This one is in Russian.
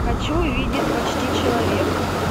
хочу увидеть почти человек